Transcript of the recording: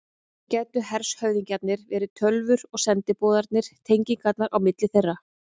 Hér gætu hershöfðingjarnir verið tölvur og sendiboðarnir tengingarnar á milli þeirra.